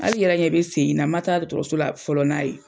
Hali yɛrɛ ɲɛ bɛ sen in na ma taa dɔgɔtɔrɔso la fɔlɔ n'a ye.